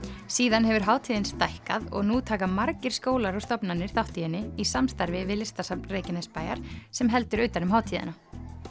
síðan hefur hátíðin stækkað og nú taka margir skólar og stofnanir þátt í henni í samstarfi við Listasafn Reykjanesbæjar sem heldur utan um hátíðina